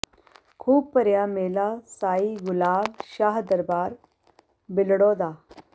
ਖ਼ੂਬ ਭਰਿਆ ਮੇਲਾ ਸਾਈਂ ਗੁਲਾਬ ਸ਼ਾਹ ਦਰਬਾਰ ਬਿਲੜਾੋ ਦਾ